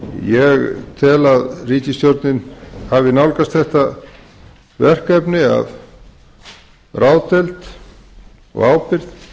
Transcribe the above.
ég tel að ríkisstjórnin hafi nálgast þetta verkefni af ráðdeild og ábyrgð